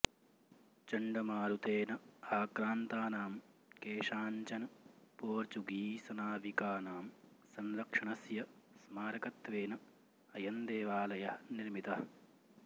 चण्डमारुतेन आक्रान्तानां केषाञ्चन पोर्चुगीसनाविकानां संरक्षणस्य स्मारकत्वेन अयं देवालयः निर्मितः